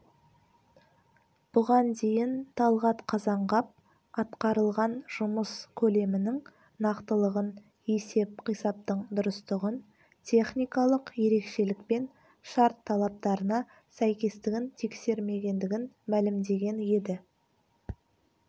бұған дейін талғат қазанғап атқарылған жұмыс көлемінің нақтылығын есеп-қисаптың дұрыстығын техникалық ерекшелік пен шарт талаптарына сәйкестігін тексермегендігін мәлімдеген еді